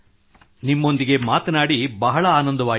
ನಿಮ್ಮೊಂದಿಗೆ ಮಾತನಾಡಿ ಬಹಳ ಆನಂದವಾಯಿತು